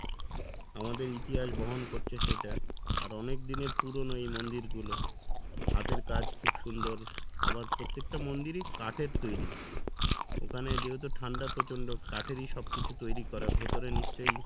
আমাদের ইতিহাস বহন করছে সেটা আর অনেকদিনের পুরনো এই মন্দির গুলো হাতের কাজ খুব সুন্দর আবার প্রত্যেকটা মন্দিরই কাঠের তৈরি ওখানে যেহেতু ঠান্ডা প্রচন্ড কাঠেরই সব কিছু তৈরি করা ভেতরে নিশ্চয়